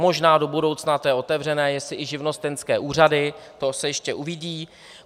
Možná do budoucna, to je otevřené, jestli i živnostenské úřady, to se ještě uvidí.